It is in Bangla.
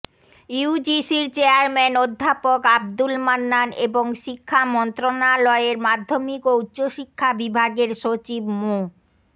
ইউজিসির চেয়ারম্যান অধ্যাপক আবদুল মান্নান এবং শিক্ষা মন্ত্রণালয়ের মাধ্যমিক ও উচ্চশিক্ষা বিভাগের সচিব মো